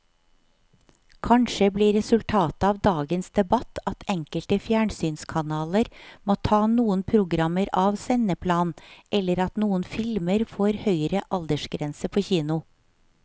Kanskje blir resultatet av dagens debatt at enkelte fjernsynskanaler må ta noen programmer av sendeplanen eller at noen filmer får høyere aldersgrense på kino.